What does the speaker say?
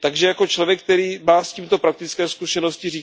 Takže jako člověk, který má s tímto praktické zkušenosti,